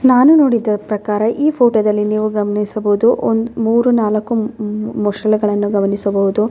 ನಾನು ನೋಡಿದ ಪ್ರಕಾರ ಈ ಫೋಟೋದಲ್ಲಿ ನೀವು ಗಮನಿಸಬಹುದು ಒಂದ್ ಮೂರ್ ನಾಲಕು ಹ್ಮ್ ಹ್ಮ್ ಮೊಸಳೆಗಳನ್ನು ಗಮನಿಸಬಹುದು .